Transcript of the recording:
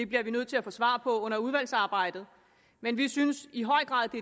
bliver vi nødt til at få svar på under udvalgsarbejdet men vi synes i høj grad